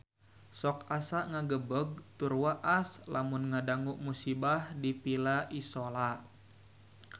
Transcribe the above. Sok asa ngagebeg tur waas lamun ngadangu musibah di Villa Isola